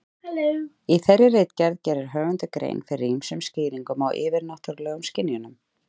Í þeirri ritgerð gerir höfundur grein fyrir ýmsum skýringum á yfirnáttúrulegum skynjunum.